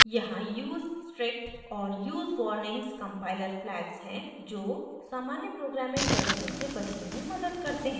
यहाँ use strict और use warnings compiler flags हैं जो सामान्य प्रोग्रामिंग गलतियों से बचने में मदद करते हैं